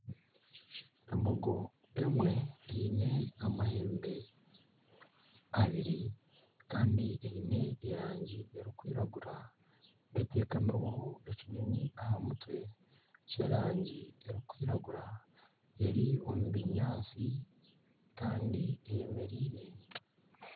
Embogo emwe eine amahembe abiri kandi eine erangi erikwiragura eteekamireho ekinyonyi aha mutwe ky'erangi erikwiragura eri omu binyaatsi kandi eyemereire.